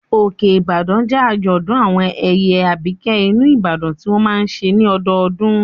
Òkè-Ìbàdàn jẹ́ àjọ̀dún àwọn ẹ̀yà Àbíkẹ́ ìlú Ìbàdàn tí wọ́n máa n ṣe ní ọdọdún